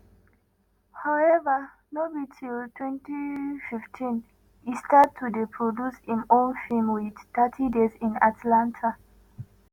howeva no be until 2015 e start to dey produce im own feem with thirty days in atlanta.